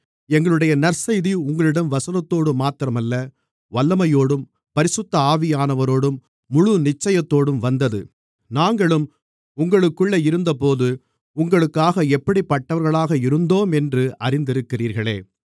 எங்களுடைய நற்செய்தி உங்களிடம் வசனத்தோடுமாத்திரமல்ல வல்லமையோடும் பரிசுத்த ஆவியானவரோடும் முழு நிச்சயத்தோடும் வந்தது நாங்களும் உங்களுக்குள்ளே இருந்தபோது உங்களுக்காக எப்படிப்பட்டவர்களாக இருந்தோமென்று அறிந்திருக்கிறீர்களே